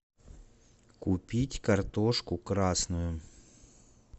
купить картошку красную